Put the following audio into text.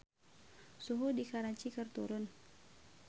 Suhu di Karachi keur turun